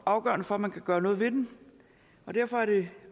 afgørende for at man kan gøre noget ved den og derfor er det